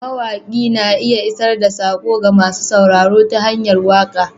Mawaƙi na iya isar da saƙo ga masu sauraro ta hanyar waka.